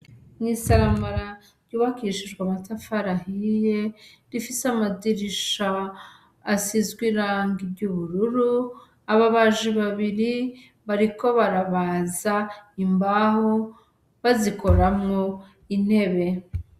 N'isomero ryubakishijwe amatafari ahiye rifise amadirisha asizwe irangi ry'ubururu, ababaji babiri bariko barabaza imbaho bazikoramwo intebe.